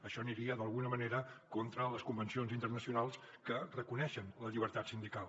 això aniria d’alguna manera contra les convencions internacionals que reconeixen la llibertat sindical